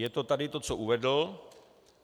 Je to tady to, co uvedl.